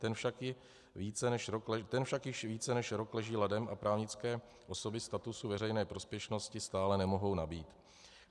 Ten však již více než rok leží ladem a právnické osoby statusu veřejné prospěšnosti stále nemohou nabýt.